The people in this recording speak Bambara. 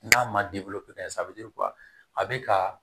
N'a ma di bolo sa a bɛ a bɛ ka